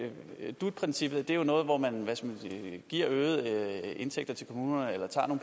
dut princippet jo er noget hvor man giver øgede indtægter til kommunerne eller tager